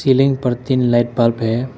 Ceiling पर तीन light bulb हैं।